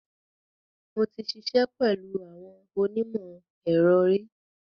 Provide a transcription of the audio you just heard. Mo ti ṣiṣẹ́ pẹ̀lú àwọn onímọ̀-ẹ̀rọ ri.